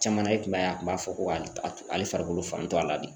Caman na i kun b'a ye a kun b'a fɔ ko a ale farikolo fantɔ a la de